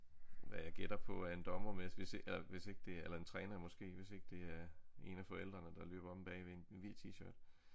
Hvad jeg gætter på er en dommer mens vi eller hvis ikke det eller en træning måske hvis ikke det er en af forældrene der løber omme bagved i en ved tshirt